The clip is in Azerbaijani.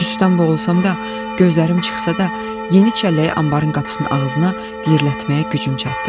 Tüstüdən boğulsam da, gözlərim çıxsa da, yeni çəlləyi anbarın qapısının ağzına diyirlətməyə gücüm çatdı.